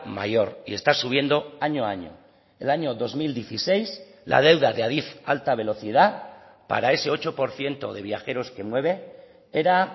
mayor y está subiendo año a año el año dos mil dieciséis la deuda de adif alta velocidad para ese ocho por ciento de viajeros que mueve era